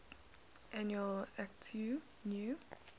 annual akitu new